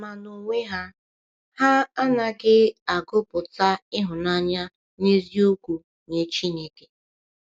Ma n’onwe ha, ha anaghị agụpụta ịhụnanya n’eziokwu nye Chineke.